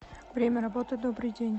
время работы добрый день